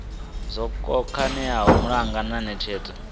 zwo khakheaho malugana na netshedzo